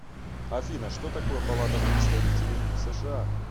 афина что такое палата представителей сша